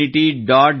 gov